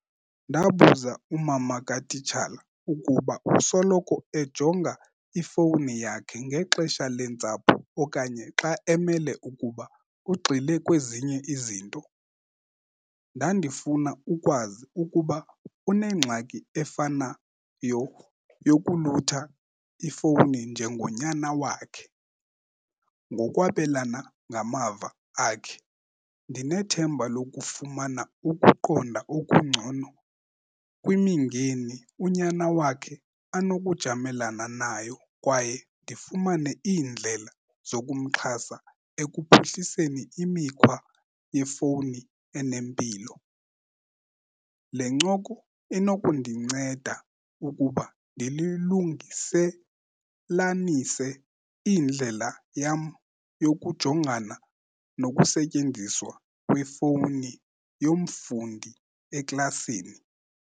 Ndabuza umama katitshala ukuba usoloko ejonga ifowuni yakhe ngexesha lentsapho okanye xa emele ukuba ugxile kwezinye izinto. Ndandifuna ukwazi ukuba unengxaki efana yokulutha ifowuni njengonyana wakhe. Ngokwabelana ngamava akhe ndinethemba lokufumana ukuqonda okungcono kwimingeni unyana wakhe anokujamelana nayo kwaye ndifumane iindlela zokumxhasa ekuphuhliseni imikhwa yefowuni enempilo. Le ncoko inokundinceda ukuba ndilungiselanise indlela yam yokujongana nokusetyenziswa kwefowuni yomfundi eklasini.